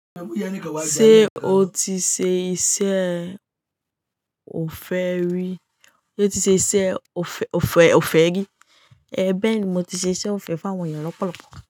Ṣé o ti ṣe iṣẹ́ òfẹ́ rí? Éè bèeni, mo ti ṣe iṣẹ́ òfẹ́ fún àwọn ènìyàn lọ́pọ̀lọpọ̀